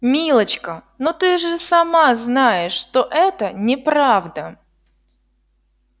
милочка но ты же сама знаешь что это неправда